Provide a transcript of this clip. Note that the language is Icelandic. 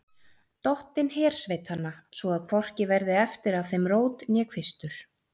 Dottinn hersveitanna, svo að hvorki verði eftir af þeim rót né kvistur.